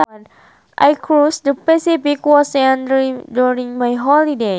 I cruised the Pacific Ocean during my holidays